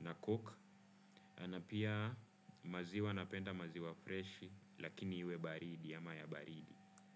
na coke. Na pia maziwa napenda maziwa fresh lakini huwe baridi ya ama ya baridi.